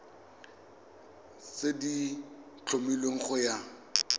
tse di tlhomilweng go ya